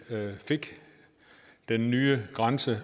fik den nye grænse